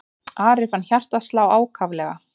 Ari fann hjartað slá ákaflega.